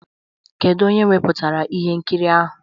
Kedu onye wepụtara ihe nkiri ahụ?